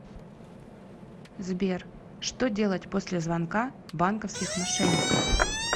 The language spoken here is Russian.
сбер что делать после звонка банковских мошенников